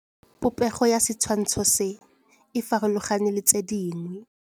Popêgo ya setshwantshô se, e farologane le tse dingwe.